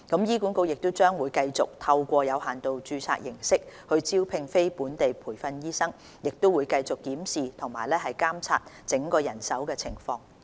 醫管局將繼續透過有限度註冊形式招聘非本地培訓醫生，亦會繼續檢視和監察整體人手情況。